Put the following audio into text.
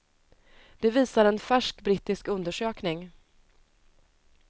Det visar en färsk brittisk undersökning.